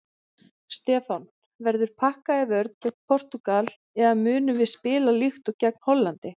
Stefán: Verður pakkað í vörn gegn Portúgal eða munum við spila líkt og gegn Hollandi?